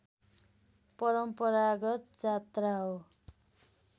परम्परागत जात्रा हो